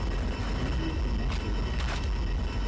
Níu komu aftur út.